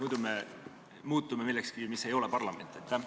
Muidu me muutume millekski, mis ei ole parlament.